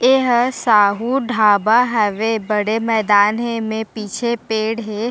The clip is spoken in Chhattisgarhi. एहा साहू ढाबा हवे बड़े मैदान हे एमे पीछे पेड़ हे।